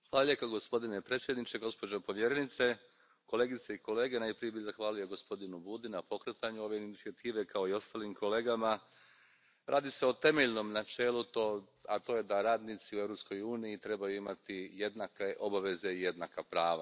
Poštovani predsjedavajući, gospođo povjerenice, kolegice i kolege, najprije bih zahvalio gospodinu Budi na pokretanju ove inicijative, kao i ostalim kolegama. Radi se o temeljnom načelu, a to je da radnici u Europskoj uniji trebaju imati jednake obaveze i jednaka prava.